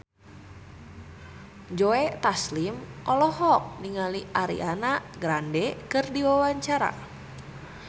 Joe Taslim olohok ningali Ariana Grande keur diwawancara